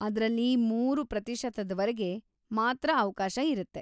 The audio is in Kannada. ಅದ್ರಲ್ಲಿ ಮೂರು ಪ್ರತಿಶತದವರೆಗೆ ಮಾತ್ರ ಅವ್ಕಾಶ ಇರತ್ತೆ.